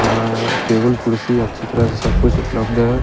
यहाँ टेबल कुर्सी अच्छी तरह से सब कुछ उपलब्ध है।